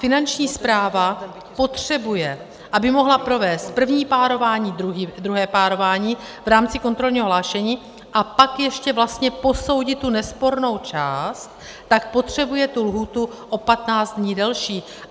Finanční správa potřebuje, aby mohla provést první párování, druhé párování v rámci kontrolního hlášení a pak ještě vlastně posoudit tu nespornou část, tak potřebuje tu lhůtu o 15 dnů delší.